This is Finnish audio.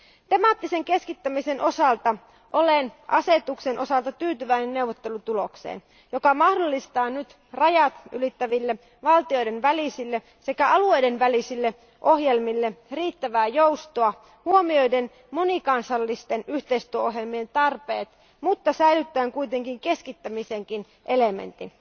Temaattisen keskittämisen osalta olen tyytyväinen asetusta koskevaan neuvottelutulokseen, joka mahdollistaa nyt rajat ylittäville, valtioiden välisille sekä alueiden välisille ohjelmille riittävää joustoa, ottaa huomioon monikansallisten yhteistyöohjelmien tarpeet, mutta säilyttää kuitenkin keskittämisen elementin